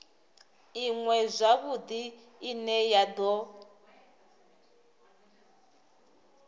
iṅwe zwavhudi ine ya do